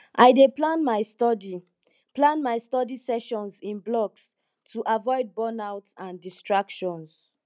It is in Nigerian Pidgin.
i dey plan my study plan my study sessions in blocks to avoid burnout and distractions